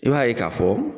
I b'a ye k'a fɔ